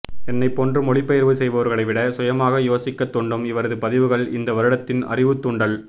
என்னை போன்று மொழிபெயர்ப்பு செய்பவர்களை விட சுயமாக யோசிக்க தூண்டும் இவரது பதிவுகள் இந்த வருடத்தின் அறிவு தூண்டல்